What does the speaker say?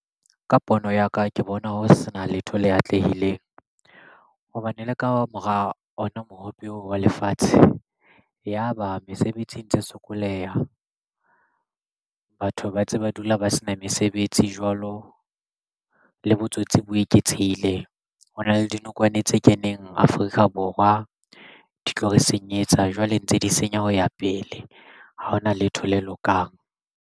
Ka pono ya ka ke bona ho sena letho le atlehileng hobane le ka mora ona mohope wa lefatshe. Yaba mesebetsi ntse sokoleha batho ba ntse ba dula ba sena mesebetsi jwalo le botsotsi bo eketsehile. Hona le dinokwane tse keneng Afrika Borwa di tlo re senyetsa jwale ntse di senya ho ya pele ha hona letho le lokang.